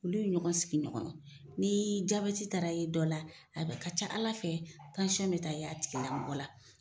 Olu ye ɲɔgɔn sigi ɲɔgɔn ni jabɛti taara ye dɔ la a ka ca ALA fɛ bɛ taa ye tigilamɔgɔ la.